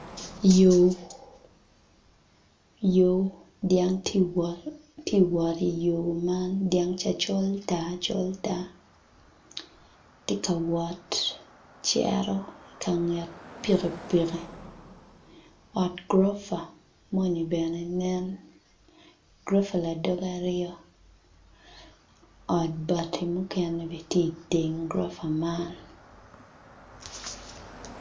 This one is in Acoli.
Yo, yo dyang tye ka wot i yo man dyang ca col tar col tar tye ka wot cito i ka nget pikipiki ot gurufa moni bene nen gurofa ladege aryo ot bati mukene bene tye i teng gurufa amn.